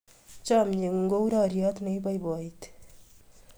Chomye ng'ung' kou roryot ne ipoipoiti.